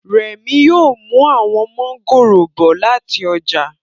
Remi yóò mú àwọn mọ́ngòrò bọ̀ láti ọjà